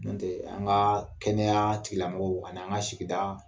N' o tɛ, an ka kɛnɛya tigilamɔgɔw ani an ka sigida